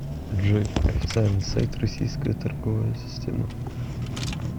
джой официальный сайт российская торговая система